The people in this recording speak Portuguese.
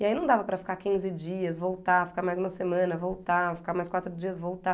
E aí não dava para ficar quinze dias, voltar, ficar mais uma semana, voltar, ficar mais quatro dias, voltar.